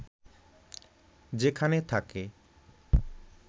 যেখানে থাকে